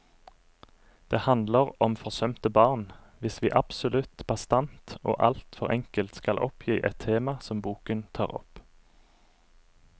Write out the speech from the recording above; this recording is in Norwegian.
Det handler om forsømte barn, hvis vi absolutt bastant og alt for enkelt skal oppgi et tema som boken tar opp.